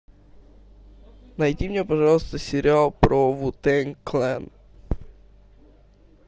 найди мне пожалуйста сериал про ву тэнг клэн